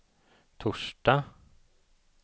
torsdag